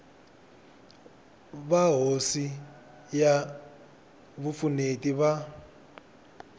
va hofisi ya vupfuneti va